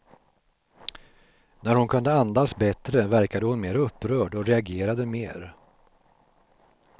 När hon kunde andas bättre verkade hon mer upprörd, och reagerade mer.